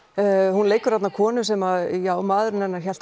hún leikur þarna konu sem já maðurinn hennar hélt